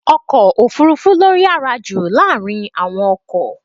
Ọkọ̀ òfúrúfú ló yára jù láàárín àwọn ọkọ̀.